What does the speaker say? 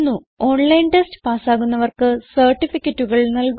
online test പാസ്സാകുന്നവർക്ക് സർട്ടിഫികറ്റുകൾ നല്കുന്നു